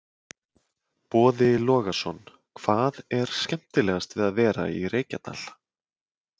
Boði Logason: Hvað er skemmtilegast við að vera í Reykjadal?